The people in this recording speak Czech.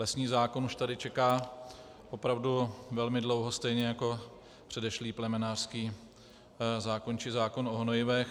Lesní zákon už tady čeká opravdu velmi dlouho, stejně jako předešlý plemenářský zákon či zákon o hnojivech.